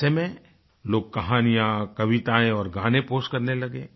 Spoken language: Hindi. ऐसे में लोग कहानियाँ कवितायेँ और गाने पोस्ट करने लगे